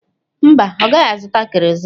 Mba, ọ gaghị azụta kerozin.